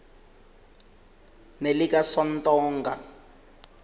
nelikasontonga